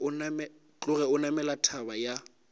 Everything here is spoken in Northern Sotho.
tloge a namela thaba ya